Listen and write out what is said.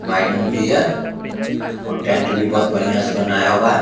Madam भी है और टेंट भी बोहोत बढ़िया से बनाया हुआ है।